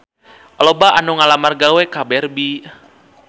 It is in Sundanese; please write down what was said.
Loba anu ngalamar gawe ka Barbie